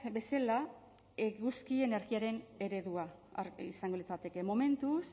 bezala eguzki energiaren eredua izango litzateke momentuz